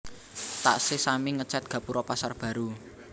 Taksih sami ngecet gapuro Pasar Baru